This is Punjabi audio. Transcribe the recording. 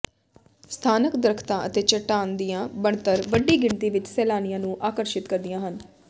ਸਥਾਨਕ ਦਰੱਖਤਾਂ ਅਤੇ ਚੱਟਾਨ ਦੀਆਂ ਬਣਤਰ ਵੱਡੀ ਗਿਣਤੀ ਵਿੱਚ ਸੈਲਾਨੀਆਂ ਨੂੰ ਆਕਰਸ਼ਿਤ ਕਰਦੇ ਹਨ